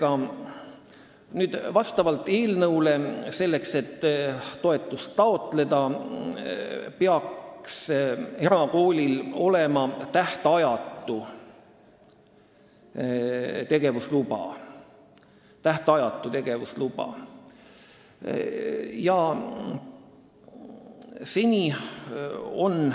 Eelnõu järgi peab erakoolil selleks, et ta saaks toetust taotleda, olema tähtajatu tegevusluba.